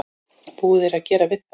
Búið er að gera við það.